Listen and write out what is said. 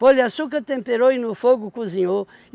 Pôr-lhe açúcar, temperou e no fogo cozinhou.